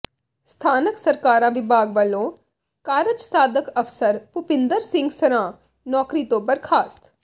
ਸਥਾਨਕ ਸਰਕਾਰਾਂ ਵਿਭਾਗ ਵਲੋਂ ਕਾਰਜਸਾਧਕ ਅਫ਼ਸਰ ਭੁਪਿੰਦਰ ਸਿੰਘ ਸਰਾਂ ਨੌਕਰੀ ਤੋਂ ਬਰਖ਼ਾਸਤ